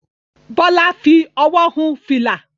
Bólà fi owó hun fìlà.